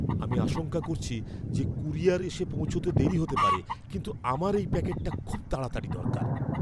আমি আশঙ্কা করছি যে কুরিয়ার এসে পৌঁছতে দেরি হতে পারে, কিন্তু আমার এই প্যাকেটটা খুব তাড়াতাড়ি দরকার।